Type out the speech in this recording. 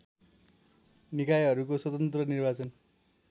निकायहरूको स्वतन्त्र निर्वाचन